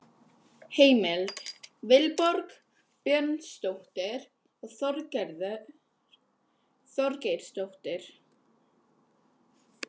Heimild: Vilborg Björnsdóttir og Þorgerður Þorgeirsdóttir.